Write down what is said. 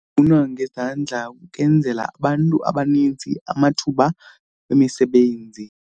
ngezandla kwenzela abantu abanintsi amathuba emisebenzi.